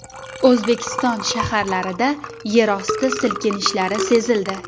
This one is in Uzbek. O‘zbekiston shaharlarida yerosti silkinishlari sezildi.